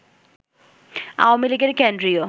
আওয়ামী লীগের কেন্দ্রীয়